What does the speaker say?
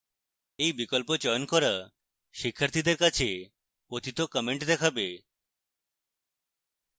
এই বিকল্প চয়ন করা শিক্ষার্থীদের কাছে পতিত content দেখাবে